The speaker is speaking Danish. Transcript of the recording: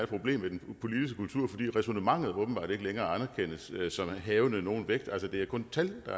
problem med den politiske kultur fordi ræsonnementet åbenbart ikke længere anerkendes som havende nogen vægt det er kun tal